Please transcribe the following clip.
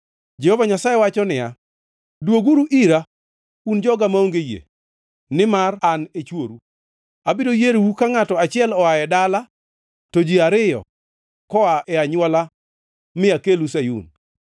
Jehova Nyasaye wacho niya, “Dwoguru ira, un joga maonge yie, nimar an e chworu. Abiro yierou ka ngʼato achiel oa e dala to ji ariyo koa e anywola mi akelu Sayun.